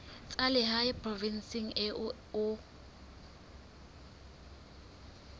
tsa lehae provinseng eo o